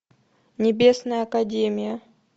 небесная академия